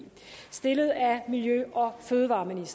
miljø og fødevareudvalget